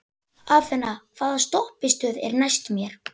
Athena, hvaða stoppistöð er næst mér?